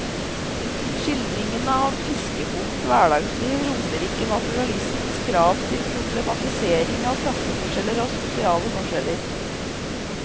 Skildringene av fiskerbondens hverdagsliv rommer ikke naturalismens krav til problematisering av klasseforskjeller og sosiale forskjeller.